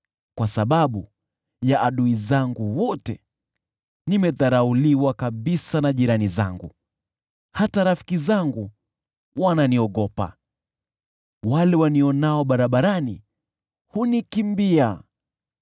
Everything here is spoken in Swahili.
Kwa sababu ya adui zangu wote, nimedharauliwa kabisa na jirani zangu, hata kwa rafiki zangu nimekuwa tisho, wale wanionao barabarani hunikimbia.